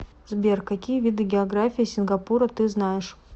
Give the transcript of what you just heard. сбер какие виды география сингапура ты знаешь